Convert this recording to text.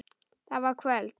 Það var kvöld.